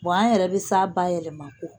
an yɛrɛ bɛ sa bayɛlɛma ko